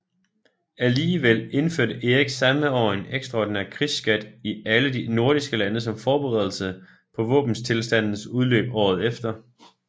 Alligevel indførte Erik samme år en ekstraordinær krigsskat i alle de nordiske lande som forberedelse på våbenstilstandens udløb året efter